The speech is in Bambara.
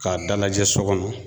K'a dalajɛ so kɔnɔ.